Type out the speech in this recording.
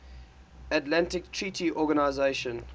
atlantic treaty organisation